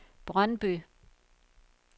Brøndby